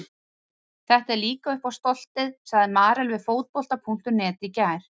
Þetta er líka upp á stoltið, sagði Marel við Fótbolta.net í gær.